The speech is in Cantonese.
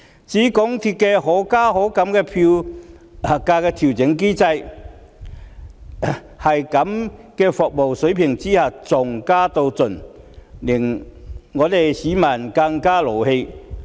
至於港鐵公司的可加可減票價調整機制，在這種服務水平下，還要加到盡，令市民感到更氣憤。